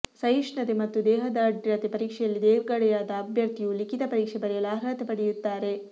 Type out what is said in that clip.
ಸಹಿಷ್ಣುತೆ ಮತ್ತು ದೇಹದಾಢ್ರ್ಯತೆ ಪರೀಕ್ಷೆಯಲ್ಲಿ ತೇರ್ಗಡೆಯಾದ ಅಭ್ಯರ್ಥಿಯು ಲಿಖಿತ ಪರೀಕ್ಷೆ ಬರೆಯಲು ಅರ್ಹತೆ ಪಡೆಯುತ್ತಾರೆ